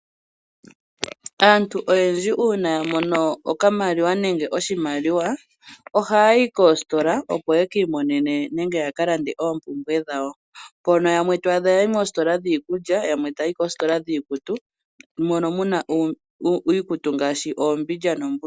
Aantu oyendjj uuna ya mono okamaliwa nenge oshimaliwa ohaya yi koositola opo yeki imonene Nenge ya kalande oompumbwe dhawo pmono muna iikutu ngaashi oombidja noombulukweya